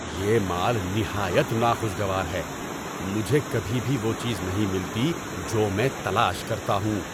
یہ مال نہایت ناخوشگوار ہے۔ مجھے کبھی بھی وہ چیز نہیں ملتی جو میں تلاش کرتا ہوں۔